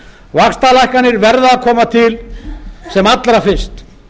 vaxtalækkanir verða að koma til sem allra fyrst